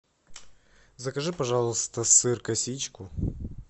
закажи пожалуйста сыр косичку